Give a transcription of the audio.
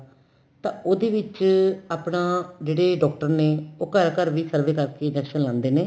ਤਾਂ ਉਹਦੇ ਵਿੱਚ ਆਪਣਾ ਜਿਹੜੇ doctor ਨੇ ਉਹ ਘਰ ਘਰ ਵੀ survey ਕਰ ਕੇ injection ਲਾਂਦੇ ਨੇ